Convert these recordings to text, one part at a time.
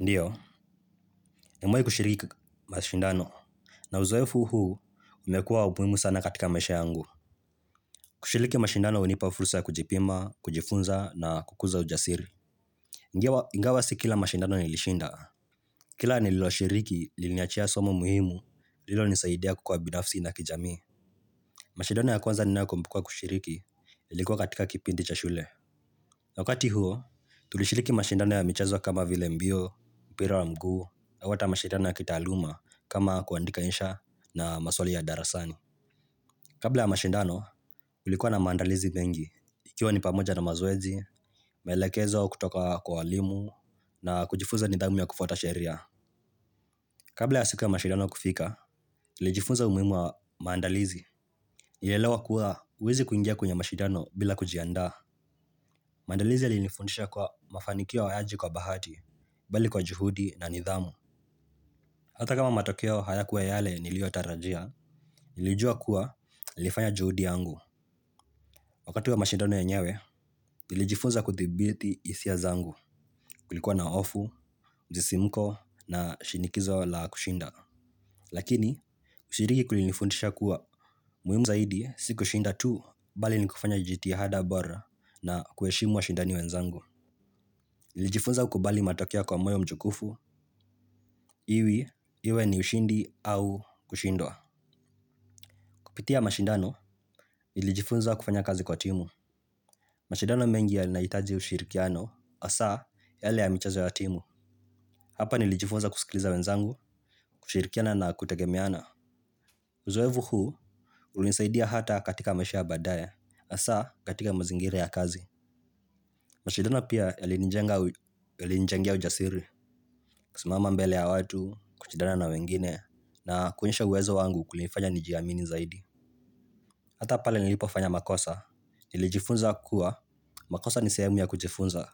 Ndio nimewahi kushiriki mashindano. Na uzoefu huu, umekuwa wa muhimu sana katika maisha yangu. Kushiriki mashindano hunipa fursa ya kujipima, kujifunza na kukuza ujasiri. Ingawa si kila mashindano nilishinda. Kila nililoshiriki, liliniachia somo muhimu, lililonisaidia kukua binafsi na kijamii. Mashindano ya kwanza ninayokumbuka kushiriki, ilikuwa katika kipindi cha shule. Na wakati huo, tulishiriki mashindano ya michezo kama vile mbio, mpira wa mguu, au hata mashidano ya kitaaluma kama kuandika insha na maswali ya darasani. Kabla ya mashidano, kulikuwa na maandalizi mengi ikiwa ni pamoja na mazoezi, maelekezo kutoka kwa walimu na kujifunza nidhamu ya kufuata sheria. Kabla ya siku ya mashidano kufika, nilijifuza umuhimu wa maandalizi nilielewa kuwa, huwezi kuingia kwenye mashidano bila kujiandaa. Maandalizi yalinifundisha kuwa mafanikio hayaji kwa bahati, bali kwa juhudi na nidhamu. Hata kama matokeo hayakuwa yale niliyotarajia, nilijua kuwa nilifanya juhudi yangu. Wakati wa mashindano yenyewe, nilijifunza kudhibiti hisia zangu kulikuwa na hofu, msisimko na shinikizo la kushinda. Lakini, kushiriki kulifundisha kuwa muhimu zaidi si kushinda tu, bali ni kufanya jihada bora na kuheshimu washindani wenzangu. Nilijifunza kukubali matokeo kwa moyo mkunjuvu, iwe iwe ni ushindi au kushindwa. Kupitia mashindano, nilijifunza kufanya kazi kwa timu. Mashindano mengi yanahitaji ushirikiano hasa, yale ya michezo ya timu. Hapa nilijifunza kusikiliza wenzangu, kushirikiana na kutegemeana. Uzoefu huu, ulinisaidia hata katika maisha ya baadaye hasa, katika mazingira ya kazi mashindano pia yalinijengea ujasiri. Kusimama mbele ya watu, kushidana na wengine na kuonyesha uwezo wangu kulifanya nijiamini zaidi hata pale nilipofanya makosa. Nilijifunza kuwa makosa ni sehemu ya kujifunza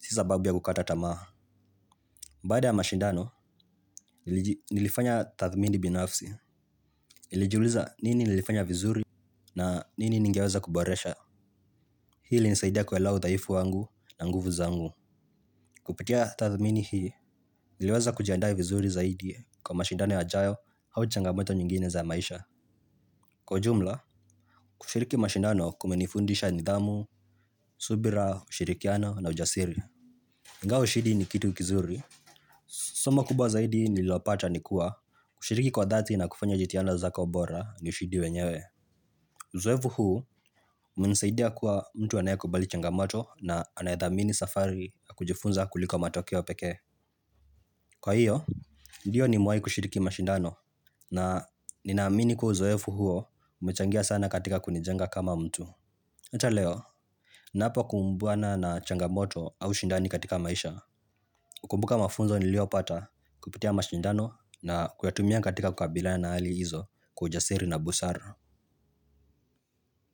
si sababu ya kukata tamaha baada ya mashindano nilifanya tathmini binafsi nilijuliza nini nilifanya vizuri na nini ningeweza kuboresha. Hii ilinisaidia kuelewa udhaifu wangu na nguvu zangu. Kupitia tathmini hii niliweza kujianda vizuri zaidi kwa mashindano yajayo au changamoto nyingine za maisha. Kwa ujumla kushiriki mashindano kumenifundisha nidhamu, subira, ushirikiano na ujasiri ingawa ushindi ni kitu kizuri, somo kubwa zaidi nililopata ni kuwa kushiriki kwa dhati na kufanya jitihada zako bora ni ushindi wenyewe. Uzoefu huu, umenisaidia kuwa mtu anayekubali changamoto na anayedhamini safari na kujifunza kuliko matokeo pekee. Kwa hiyo, ndiyo nimewaji kushiriki mashindano na ninaamini kuwa uzoefu huo umechangia sana katika kunijenga kama mtu. Hata leo ninapokumbuna na changamoto au ushindani katika maisha hukumbuka mafunzo niliyopata kupitia mashindano na kuyatumia katika kukabiliana na hali hizo kwa ujasiri na busara.